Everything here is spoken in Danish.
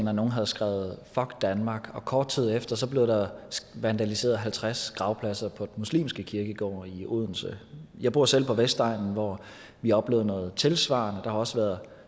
at nogle havde skrevet fuck danmark og kort tid efter blev der vandaliseret halvtreds gravpladser på den muslimske kirkegård i odense jeg bor selv på vestegnen hvor vi har oplevet noget tilsvarende der har også været